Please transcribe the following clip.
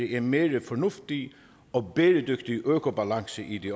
en mere fornuftig og bæredygtig økobalance i det